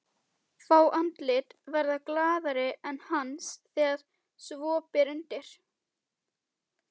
Fá andlit verða glaðari en hans þegar svo ber undir.